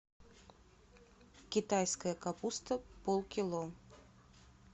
китайская капуста полкило